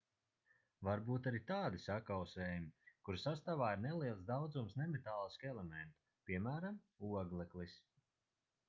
var būt arī tādi sakausējumi kuru sastāvā ir neliels daudzums nemetālisku elementu piemēram ogleklis